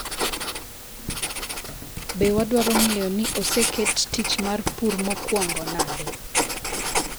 Be wadwaro ng’eyo ni oseket tich mar pur mokuongo nade?